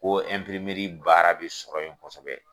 Ko ɛnprimɛri baara bɛ sɔrɔ yen kosɛbɛ.